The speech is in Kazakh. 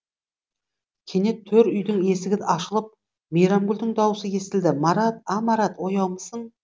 кенет төр үйдің есігі ашылып мейрамгүлдің даусы естілді марат а марат ояумысың